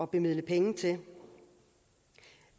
bevilge penge til